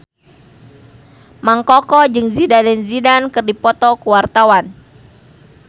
Mang Koko jeung Zidane Zidane keur dipoto ku wartawan